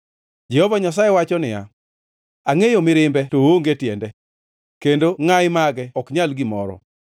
Jehova Nyasaye wacho niya, “Angʼeyo mirimbe to oonge tiende, kendo ngʼayi mage ok nyal gimoro.